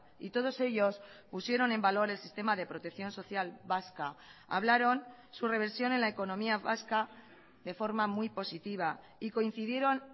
y todos ellos pusieron en valor el sistema de protección social vasca hablaron su reversión en la economía vasca de forma muy positiva y coincidieron